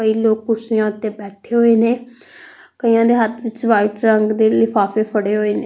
ਕਈ ਲੋਕ ਕੁਰਸੀਆਂ ਓੱਤੇ ਬੈਠੇ ਹੋਏ ਨੇਂ ਕਈਆਂ ਦੇ ਹੱਥ ਵਿੱਚ ਵ੍ਹਾਈਟ ਰੰਗ ਦੇ ਲਿਫਾਫੇ ਫੜੇ ਹੋਏ ਨੇ।